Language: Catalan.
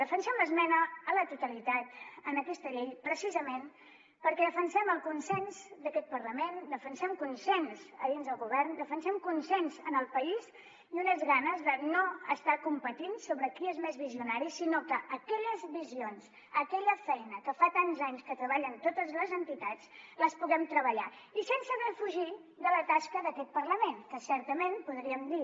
defensem l’esmena a la totalitat en aquesta llei precisament perquè defensem el consens d’aquest parlament defensem consens dins del govern defensem consens en el país i unes ganes de no estar competint sobre qui és més visionari sinó que aquelles visions aquella feina que fa tants anys que treballen totes les entitats les puguem treballar i sense defugir la tasca d’aquest parlament que certament podríem dir